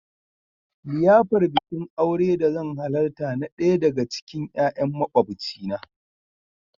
liyafar Bikin aure da zan halarta na daya daga cikin 'ya'yan makwabcina.